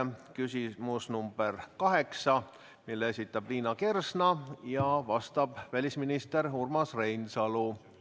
See on küsimuse number 8, mille esitab Liina Kersna ja millele vastab välisminister Urmas Reinsalu.